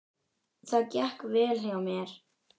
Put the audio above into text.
Það gekk vel hjá mér.